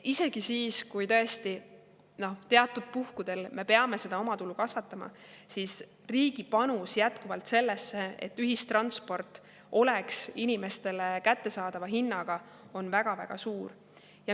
Isegi siis, kui tõesti teatud puhkudel me peame seda omatulu kasvatama, on riigi panus sellesse, et ühistransport oleks inimestele kättesaadava hinnaga, jätkuvalt väga-väga suur.